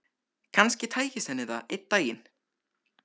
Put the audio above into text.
Kannski tækist henni það einn daginn.